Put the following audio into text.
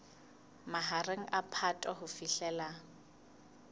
mahareng a phato ho fihlela